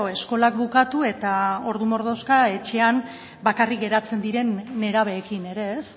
eskolak bukatu eta ordu mordoxka etxean bakarrik geratzen diren nerabeekin ere ez